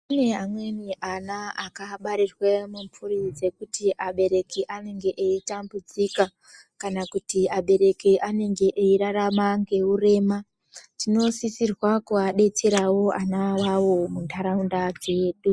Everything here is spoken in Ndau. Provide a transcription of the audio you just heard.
Kune amweni ana akabarirwa mumhuri dzekuti abereki anenge eitambudzika. Kana kuti abereki anenge eirarama ngeurema tinosisirwe kuvadetera ana awawo munharaunda dzedu.